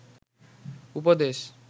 উপদেশ